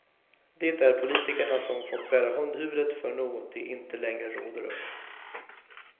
Det är politikerna som fått bära hundhuvudet för något de inte längre råder över.